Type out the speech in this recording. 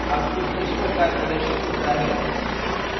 output इस प्रकार प्रदर्शित होता है: